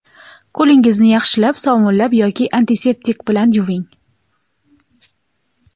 qo‘lingizni yaxshilab sovunlab yoki antiseptik bilan yuving!.